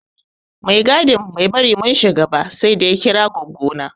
Mai tsaron gadi bai bari mun shiga ba saida ya kira goggo na.